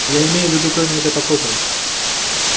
я имею в виду кроме этой покопой